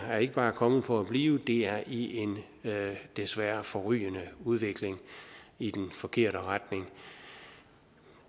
ikke bare er kommet for at blive det er i en desværre forrygende udvikling i den forkerte retning